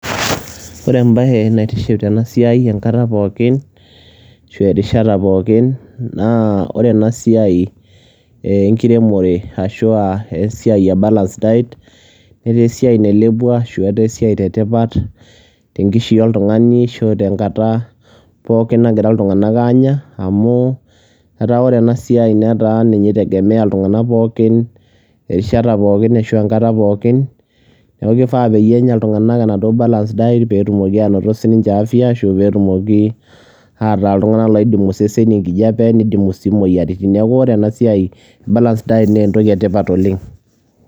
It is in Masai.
Ore ebae naitiship tenasiai enkata pookin, ashu erishata pookin, naa ore enasiai enkiremore, ashua esiai e balanced diets ,netaa esiai nailepua, ashu etaa esiai etipat, tenkishui oltung'ani, ashu tenkata pookin nagira iltung'anak aanya, amu etaa ore enasiai netaa ninye i [ tegemea iltung'anak pookin, irishata pookin, ashu enkata pookin, neeku kifaa peyie enya iltung'anak enaduo balanced diet, petumoki anotito sininche afya, ashu petumoki ataa iltung'anak loidimu iseseni enkijape, nidimu si moyiaritin. Neeku ore enasiai e balanced diet ,nentoki etipat oleng.